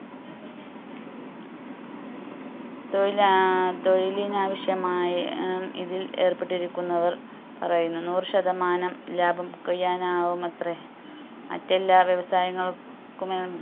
തൊഴിലാ ആഹ് തൊഴിലിനാവശ്യമായി ഏർ ഇതിൽ ഏർപ്പെട്ടിരിക്കുന്നവർ പറയുന്നു നൂറ് ശതമാനം ലാഭം കൊയ്യാൻ ആവുമത്രെ മറ്റെല്ലാ വ്യവസായങ്ങൾ ക്കും